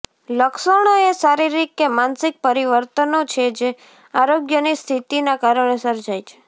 લક્ષણો એ શારીરિક કે માનસિક પરિવર્તનો છે જે આરોગ્યની સ્થિતિના કારણે સર્જાય છે